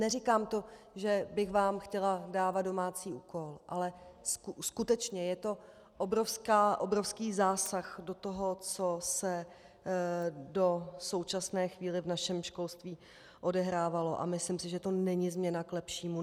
Neříkám to, že bych vám chtěla dávat domácí úkol, ale skutečně je to obrovský zásah do toho, co se do současné chvíle v našem školství odehrávalo, a myslím si, že to není změna k lepšímu.